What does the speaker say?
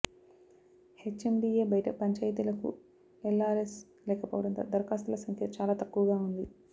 HMDA బయట పంచాయతీలకు LRS లేకపోవడంతో దరఖాస్తుల సంఖ్య చాలా తక్కువగా ఉంది